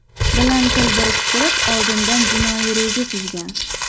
bilan til biriktirib, oldindan jinoiy reja tuzgan.